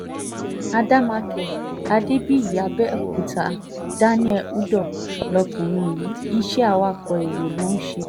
àdèmàkè adébíyì àbẹ̀òkúta daniel udoh lọkùnrin yìí iṣẹ́ awakọ̀ èrò ló ń ṣe